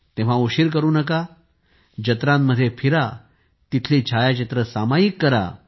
मग उशीर करू नकाजत्रांमध्ये फिरा तेथील छायाचित्रे सामायिक करा